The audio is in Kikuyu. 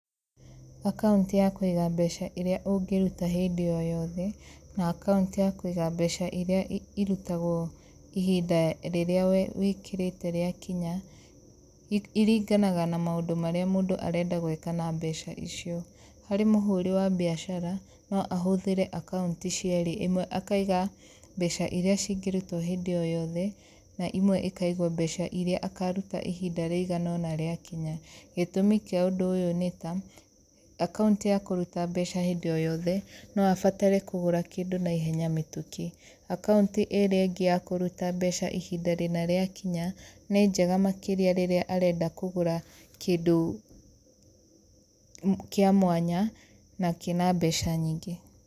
Akaunti ya kũiga mbeca ĩrĩa ũngĩruta hĩndĩ o yothe na akaunti ya kũiga mbeca irĩa irutagwo ihinda rĩrĩa wĩkĩrĩte rĩakinya iringanaga na maũndũ marĩa mũndũ arenda gwĩka na mbeca icio. Harĩ mũhũri wa biacara no ahũthĩre akaunti cierĩ, ĩmwe akaiga mbeca irĩa cingĩrutwo hĩndĩ o yothe na imwe ĩkaigwo mbeca irĩa akaruta ihinda rĩgana ona rĩakinya. Gĩtũmi kĩa ũndũ ũyũ ni ta, akaunti ya kũruta mbeca hĩndĩ o yothe no abatare kũgũra kĩndũ naihenya mĩtũkĩ, akaunti ĩrĩa ĩngi ya kũruta mbeca ihinda rĩna rĩakinya nĩ njega makĩria rĩrĩa arenda kũgũra kĩndu kĩa mwanya na kĩna mbeca nyingĩ.